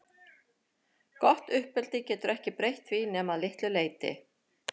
Gott uppeldi getur ekki breytt því nema að litlu leyti.